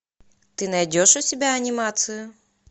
ты найдешь у себя анимацию